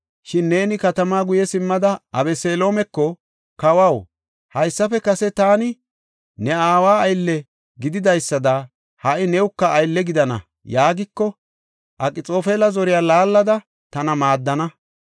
Shin neeni katamaa guye simmada Abeseloomeko, ‘Kawaw, haysafe kase taani ne aawa aylle gididaysada ha77i newuka aylle gidana’ yaagiko, Akxoofela zoriya laallada tana maaddana.